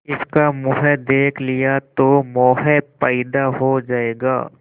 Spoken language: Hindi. इसका मुंह देख लिया तो मोह पैदा हो जाएगा